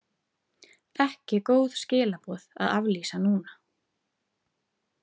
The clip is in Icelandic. Ekki góð skilaboð að aflýsa núna.